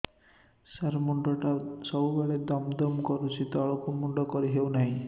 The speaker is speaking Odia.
ସାର ମୁଣ୍ଡ ଟା ସବୁ ବେଳେ ଦମ ଦମ କରୁଛି ତଳକୁ ମୁଣ୍ଡ କରି ହେଉଛି ନାହିଁ